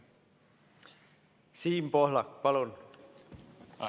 Siim Pohlak, palun!